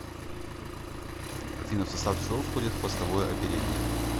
афина в состав чего входит хвостовое оперение